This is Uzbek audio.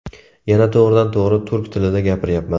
Yana to‘g‘ridan to‘g‘ri turk tilida gapiryapman.